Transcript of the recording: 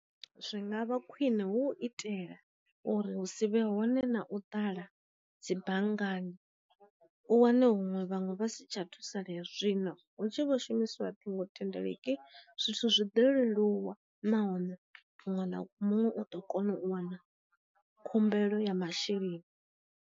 Zwi nga vha khwine hu itela uri hu si vhe hone na u ṱala dzi banngani u wane huṅwe vhaṅwe vhasi tsha thusalea zwino hu tshi vho shumiswa ṱhingo thendeleki, zwithu zwi ḓo leluwa nahone muṅwe na muṅwe u ḓo kona u wana khumbelo ya masheleni.